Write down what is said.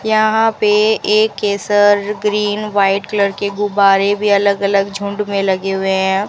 यहां पे एक के सर ग्रीन वाइट कलर के गुब्बारे भी अलग अलग झुंड में लगे हुए हैं।